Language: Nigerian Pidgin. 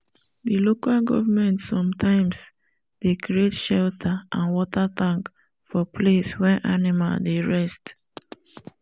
the local government sometimes dey create shelter and water tank for place wen animal dey rest